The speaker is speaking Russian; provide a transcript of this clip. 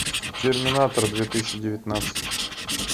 терминатор две тысячи девятнадцать